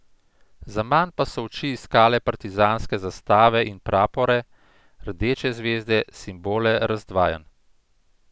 Zaman pa so oči iskale partizanske zastave in prapore, rdeče zvezde, simbole razdvajanj.